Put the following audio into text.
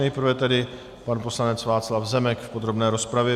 Nejprve tedy pan poslanec Václav Zemek v podrobné rozpravě.